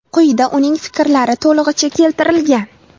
Quyida uning fikrlari to‘lig‘icha keltirilgan.